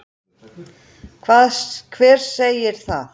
Hver segir það?